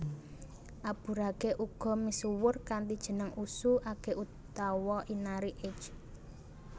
Aburage uga misuwur kanthi jeneng Usu age utawa Inari age